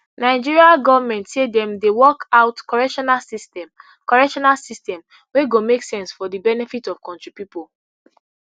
nigeria goment say dem dey work out correctional system correctional system wey go make sense for di benefit of kontri pipo